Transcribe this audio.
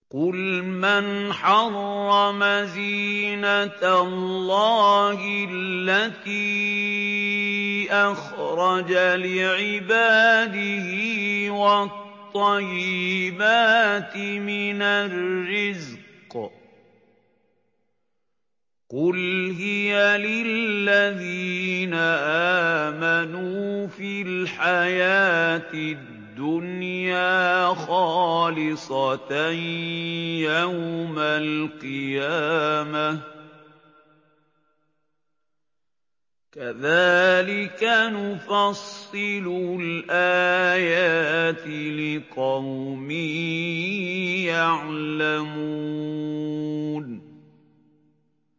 قُلْ مَنْ حَرَّمَ زِينَةَ اللَّهِ الَّتِي أَخْرَجَ لِعِبَادِهِ وَالطَّيِّبَاتِ مِنَ الرِّزْقِ ۚ قُلْ هِيَ لِلَّذِينَ آمَنُوا فِي الْحَيَاةِ الدُّنْيَا خَالِصَةً يَوْمَ الْقِيَامَةِ ۗ كَذَٰلِكَ نُفَصِّلُ الْآيَاتِ لِقَوْمٍ يَعْلَمُونَ